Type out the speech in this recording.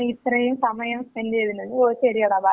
നീ ഇത്രയും സമയം സ്പെന് റ് ചെയ്തതിന്. ഓ ശരിയെടാ. ബൈ